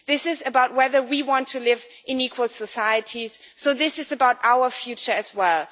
This is about whether we want to live in equal societies, so this is about our future as well.